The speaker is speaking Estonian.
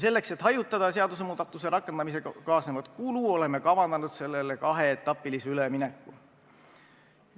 Selleks, et hajutada seadusemuudatuse rakendamisega kaasnevat kulu, oleme kavandanud kaheetapilise ülemineku.